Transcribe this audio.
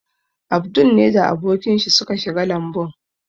Abdul ne da abokan shi suka shiga lambun.